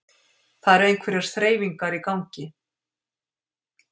Það eru einhverjar þreifingar í gangi